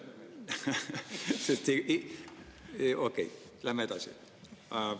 Okei, läheme edasi.